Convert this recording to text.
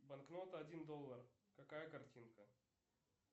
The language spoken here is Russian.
банкнота один доллар какая картинка